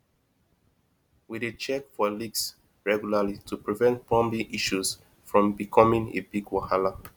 we dey check for leaks regularly to prevent plumbing issues from becoming big wahala